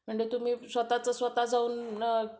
म्हणजे तुम्ही स्वतःच स्वतः जाऊन